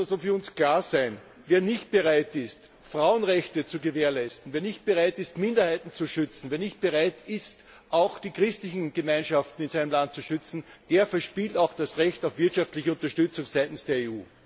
h., es muss für uns klar sein, wer nicht bereit ist, Frauenrechte zu gewährleisten, wer nicht bereit ist, Minderheiten zu schützen, wer nicht bereit ist, auch die christlichen Gemeinschaften in seinem Land zu schützen, der verspielt auch das Recht auf wirtschaftliche Unterstützung seitens der EU!